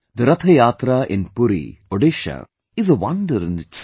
The Rath Yatra in Puri, Odisha is a wonder in itself